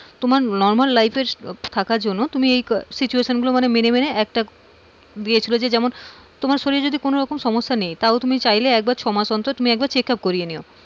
তোমার normal life এ থাকার জন্য তুমি এই situation গুলো তুমি মেনে মেনে একটা দিয়েছিল যেমন তোমার শরীরের যদি কোন রকম সমস্যা নেই তাহলে তুমি চাইলে ছয় মাস অন্তর checkup করিয়ে নিও.